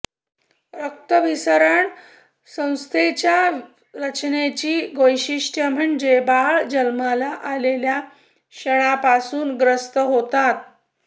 रक्ताभिसरण व्यवस्थेच्या संरचनेची वैशिष्ठ्य म्हणजे बाळ जन्माला आलेल्या क्षणापासून ग्रस्त होतात